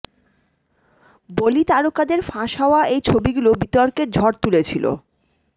বলি তারকাদের ফাঁস হওয়া এই ছবিগুলি বিতর্কের ঝড় তুলেছিল